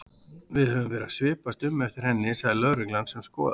Við höfum verið að svipast um eftir henni sagði lögreglan sem skoðaði